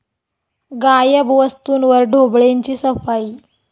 गायब वस्तूंवर ढोबळेंची 'सफाई'